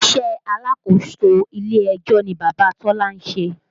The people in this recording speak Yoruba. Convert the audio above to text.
Iṣẹ́ alákòóso ilé ẹjọ́ ni Bàbá Tọ́lá ń ṣe